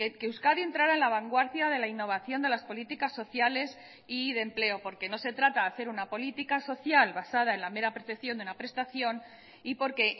que euskadi entrara en la vanguardia de la innovación de las políticas sociales y de empleo porque no se trata de hacer una política social basada en la mera percepción de una prestación y porque